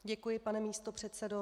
Děkuji, pane místopředsedo.